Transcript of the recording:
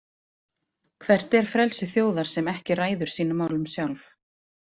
Hvert er frelsi þjóðar sem ekki ræður sínum málum sjálf?